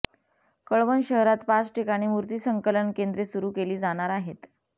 कळवण शहरात पाच ठिकाणी मूर्ती संकलन केंद्रे सुरू केली जाणार आहेत